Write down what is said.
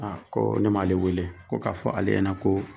Aa ko ne m'ale wele ko k'a fɔ ale ɲɛna ko